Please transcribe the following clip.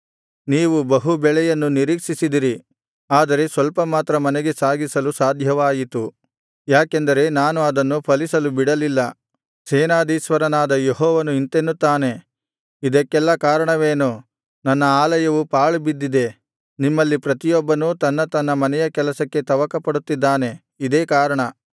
ನೀವು ಬಹು ಬೆಳೆಯನ್ನು ನಿರೀಕ್ಷಿಸಿದಿರಿ ಆದರೆ ಸ್ವಲ್ಪ ಮಾತ್ರ ಮನೆಗೆ ಸಾಗಿಸಲು ಸಾಧ್ಯವಾಯಿತು ಯಾಕೆಂದರೆ ನಾನು ಅದನ್ನು ಫಲಿಸಲು ಬಿಡಲಿಲ್ಲ ಸೇನಾಧೀಶ್ವರನಾದ ಯೆಹೋವನು ಇಂತೆನ್ನುತ್ತಾನೆ ಇದಕ್ಕೆಲ್ಲಾ ಕಾರಣವೇನು ನನ್ನ ಆಲಯವು ಪಾಳು ಬಿದ್ದಿದೆ ನಿಮ್ಮಲ್ಲಿ ಪ್ರತಿಯೊಬ್ಬನೂ ತನ್ನ ತನ್ನ ಮನೆಯ ಕೆಲಸಕ್ಕೆ ತವಕಪಡುತ್ತಿದ್ದಾನೆ ಇದೇ ಕಾರಣ